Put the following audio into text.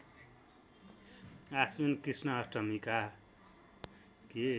आश्विन कृष्ण अष्टमीका